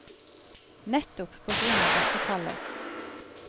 Nettopp på grunn av dette kallet.